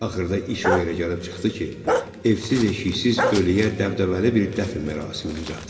Axırda iş o yerə gəlib çıxdı ki, evsiz eşiksiz ölüyə dəbdəbəli bir dəfn mərasimi düzəltdilər.